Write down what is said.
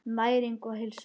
Næring og heilsa.